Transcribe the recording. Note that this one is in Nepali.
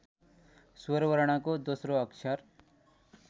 स्वरवर्णको दोस्रो अक्षर